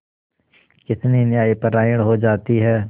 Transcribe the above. कितनी न्यायपरायण हो जाती है